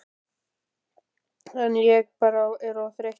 En ég bara er of þreyttur